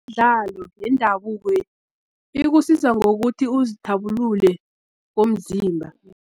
Imidlalo yendabuko, ikusiza ngokuthi uzithabulule komzimba.